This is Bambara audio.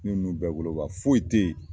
Ni ninnu bɛɛ bolo ban foyi tɛ ye.